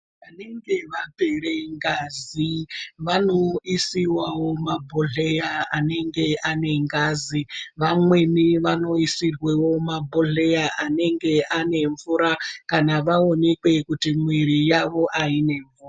Vanenge vapere ngazi vano isiwawo ma bhodhleya anenge ane ngazi vamweni vano isirwewo ma bhodhleya anenge ane mvura kana vaonekwe kuti mwiri yavo aine mvura.